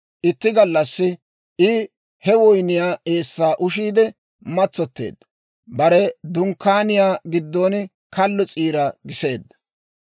Itti gallassi I he woyniyaa eessaa ushiidde matsotteedda; bare dunkkaaniyaa giddon kallo s'iira giseedda.